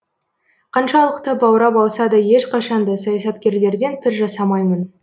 қаншалықты баурап алса да ешқашан да саясаткерлерден пір жасамаймын